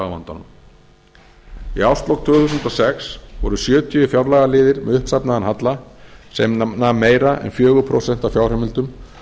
á vandanum í árslok tvö þúsund og sex voru sjötíu fjárlagaliðir með uppsafnaðan halla sem nam meira en fjögur prósent af fjárheimildum